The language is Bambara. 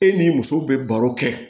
E ni muso be baro kɛ